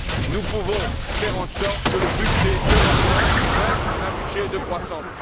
Nous pouvons faire en sorte que le budget européen reste un budget de croissance.